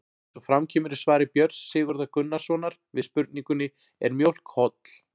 Eins og fram kemur í svari Björns Sigurðar Gunnarssonar við spurningunni Er mjólk holl?